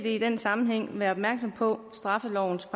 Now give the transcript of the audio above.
i den sammenhæng være opmærksom på straffelovens